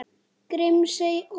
Grímsey og